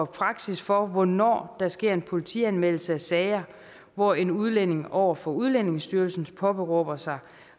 praksis for hvornår der sker politianmeldelse i sager hvor en udlænding over for udlændingestyrelsen påberåber sig